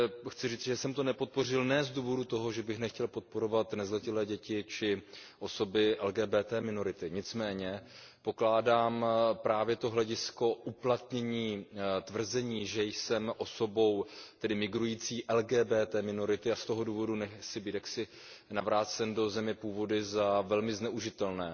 Chci říci, že jsem to nepodpořil ne z důvodu toho, že bych nechtěl podporovat nezletilé děti či osoby LGBT minority, nicméně pokládám právě to hledisko uplatnění tvrzení, že jsem migrující osobou LGBT minority a z toho důvodu nemusím být navrácen do země původu, za velmi zneužitelné.